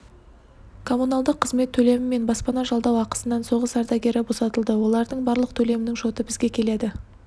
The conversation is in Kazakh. коммуналдық қызмет төлемі мен баспана жалдау ақысынан соғыс ардагері босатылды олардың барлық төлемінің шоты бізге келеді